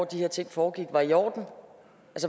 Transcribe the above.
de her ting foregik var i orden